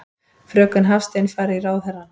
Fröken Hafstein fari í ráðherrann.